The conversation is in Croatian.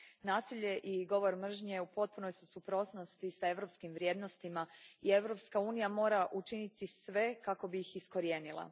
Nasilje i govor mržnje u potpunoj su suprotnosti s europskim vrijednostima i Europska unija mora učiniti sve kako bi ih iskorijenila.